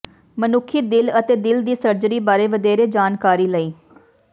ਮਨੁੱਖੀ ਦਿਲ ਅਤੇ ਦਿਲ ਦੀ ਸਰਜਰੀ ਬਾਰੇ ਵਧੇਰੇ ਜਾਣਕਾਰੀ ਲਈ